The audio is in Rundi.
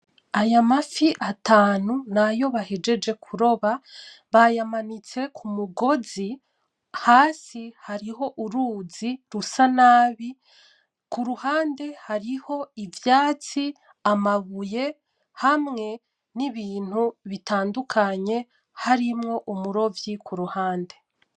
Aya mafi atanu ni ayo bahejeje kuroba, bayamanitse kumugozi, hasi hariho uruzi rusa nabi. Kuruhande hariho ivyatsi, amabuye hamwe n'ibintu bitandukanye harimwo umurovyi kuruhande